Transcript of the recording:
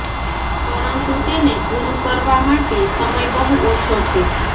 પરંતુ તેને પૂરું કરવા માટે સમય બહુ ઓછો છે